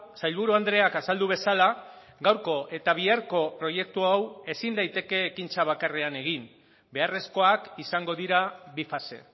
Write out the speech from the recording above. sailburu andreak azaldu bezala gaurko eta biharko proiektu hau ezin daiteke ekintza bakarrean egin beharrezkoak izango dira bi fase